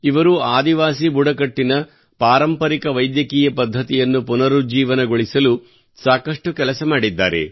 ಇವರು ಆದಿವಾಸಿ ಬುಡಕಟ್ಟಿನ ಪಾರಂಪರಿಕ ವೈದ್ಯಕೀಯ ಪದ್ಧತಿಯನ್ನು ಪುನರುಜ್ಜೀವನಗೊಳಿಸಲು ಸಾಕಷ್ಟು ಕೆಲಸ ಮಾಡಿದ್ದಾರೆ